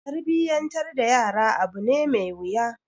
Tarbiyyantar da yara abu ne mai wuya.